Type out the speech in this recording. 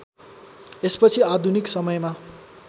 यसपछि आधुनिक समयमा